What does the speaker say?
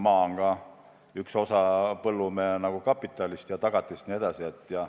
Maa on üks osa põllumehe kapitalist ja tagatisest.